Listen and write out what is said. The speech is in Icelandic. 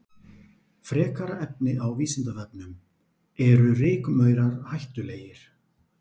Frekara lesefni á Vísindavefnum: Eru rykmaurar hættulegir?